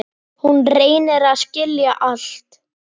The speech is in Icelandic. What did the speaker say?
Hún reynir að skilja allt.